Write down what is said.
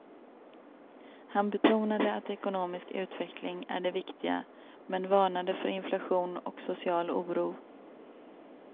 Han betonade att ekonomisk utveckling är det viktiga, men varnade för inflation och social oro.